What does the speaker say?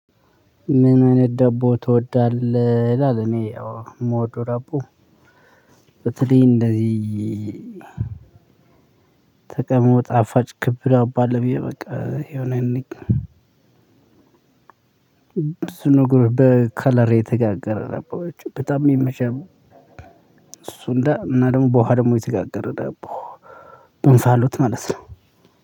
ምን አይነት ደቦ ትወዳለህ ይላል? እኔ ያው ምወደው ዶቦ በተለይልህ እንደዚህ ከቀድሞ ጣፋጭ ክብ ዳቦ አባለ ብዬ በቃ የሆነ በከለር የተጋገረ ዳቦዎች በጣም ይመቻሉ። እሱ እንደ እና ደግሞ በውሃ ደግሞ የተጋገረ ዳቦ እንፋሎት ማለት ነው።